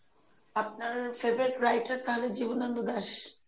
আপনার favourite writer তাহলে জীবনানন্দ দাস?